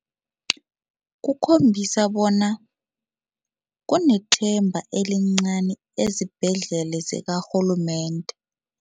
Kukhombisa bona kunesithemba elincani ezibhedlela zikarhulumende.